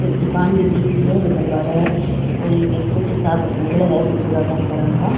एक दुकान भी दिख रही है जेकर बारे कोई पेकेट